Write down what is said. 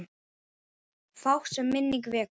Fátt, sem minning vekur.